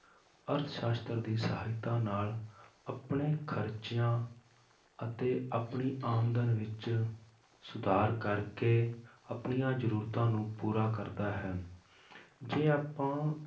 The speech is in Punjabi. ਅਰਥ ਸਾਸ਼ਤਰ ਦੀ ਸਹਾਇਤਾ ਨਾਲ ਆਪਣੇ ਖ਼ਰਚਿਆਂ ਅਤੇ ਆਪਣੀ ਆਮਦਨ ਵਿੱਚ ਸੁਧਾਰ ਕਰਕੇ ਆਪਣੀਆਂ ਜ਼ਰੂਰਤਾਂ ਨੂੰ ਪੂਰਾ ਕਰਦਾ ਹੈ ਜੇ ਆਪਾਂ